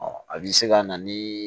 a bɛ se ka na ni